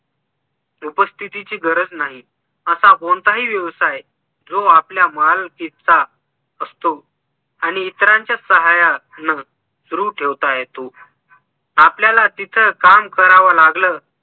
उपस्थितीची गरज नाही असा कोणताही व्यवसाय जो आपल्या मालकीचा असतो आणि इतरांच्या साह्यान सुरु ठेवता येतो आपल्याला तिथं काम करावं लागल